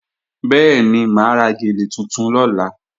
Bẹ́ẹ̀ni, mà á ra gèlè tuntun lọ́la